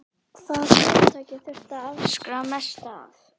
Hvaða fyrirtæki þurfti að afskrifa mest af?